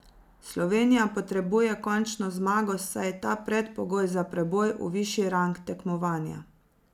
Slovenija potrebuje končno zmago, saj je ta predpogoj za preboj v višji rang tekmovanja.